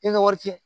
I ka wari fiyɛ